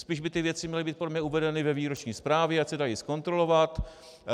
Spíš by ty věci měly být podle mě uvedeny ve výroční zprávě, ať se dají zkontrolovat.